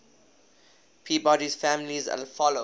peabody's family followed